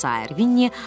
Və sair.